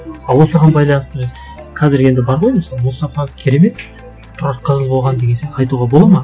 а осыған байланысты біз қазір енді бар ғой мысалы мұстафа керемет тұрақ қызыл болған деген сияқты айтуға болады ма